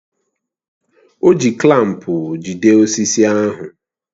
O ji klampu jide osisi ahụ